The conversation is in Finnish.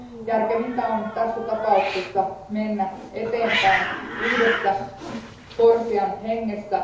Järkevintä on tässä tapauksessa mennä eteenpäin yhdessä CORSIAn hengessä.